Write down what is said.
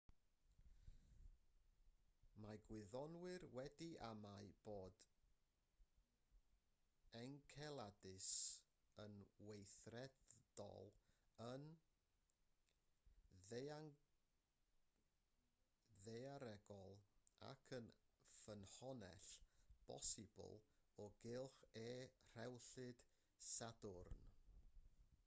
mae gwyddonwyr wedi amau bod enceladus yn weithredol yn ddaearegol ac yn ffynhonnell bosibl o gylch e rhewllyd sadwrn